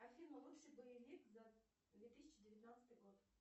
афина лучший боевик за две тысячи девятнадцатый год